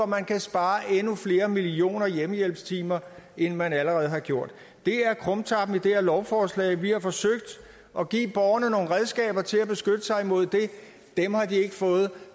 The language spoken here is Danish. man kan spare endnu flere millioner hjemmehjælpstimer end man allerede har gjort det er krumtappen i det her lovforslag vi har forsøgt at give borgerne nogle redskaber til at beskytte sig mod det dem har de ikke fået